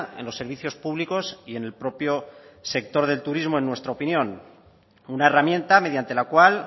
en los servicios públicos y en el propio sector del turismo en nuestra opinión una herramienta mediante la cual